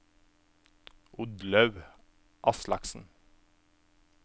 Oddlaug Aslaksen